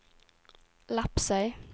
Lepsøy